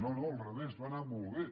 no no al revés va anar molt bé